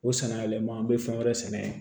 O sanyɛlɛma an be fɛn wɛrɛ sɛnɛ